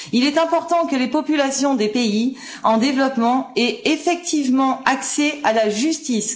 Il est important que les populations des pays en développement aient effectivement accès à la justice.